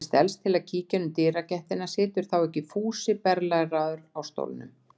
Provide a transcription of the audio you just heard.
Ég stelst til að kíkja inn um dyragættina situr þá ekki Fúsi berlæraður í stólnum!